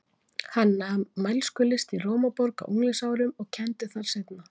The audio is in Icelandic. Hann nam mælskulist í Rómaborg á unglingsárum og kenndi þar seinna.